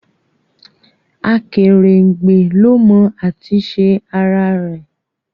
Akerengbe ló mọ at'isẹ ara-re